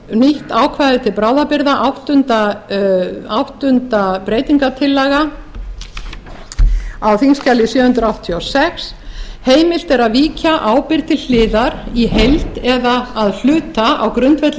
nýtt ákvæði til bráðabirgða áttunda breytingartillaga á þingskjali sjö hundruð áttatíu og sex heimilt er að víkja ábyrgð til hliðar í heild eða að hluta á grundvelli